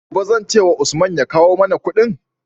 Gobe zan ce wa Usman ya kawo ma Ƙudin?